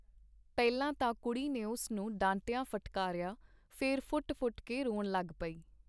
ਪਹਿਲਾਂ ਤਾਂ ਕੁੜੀ ਨੇ ਉਸ ਨੂੰ ਡਾਂਟਿਆ-ਫਟਕਾਰਿਆ, ਫੇਰ ਫੁਟ-ਫੁਟ ਕੇ ਰੋਣ ਲਗ ਪਈ.